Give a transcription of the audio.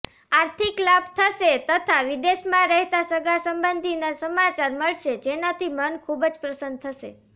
આર્થિક લાભ થશે તથા વિદેશમાં રહેતા સગાસંબંધીના સમાચાર મળશે જેનાથી મન ખૂબ પ્રસન્ન થશે